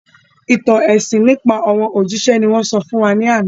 Ìtàn ẹ̀sìn nípa àwọn òjíṣẹ́ ni wọ́n sọ fún wa ní àná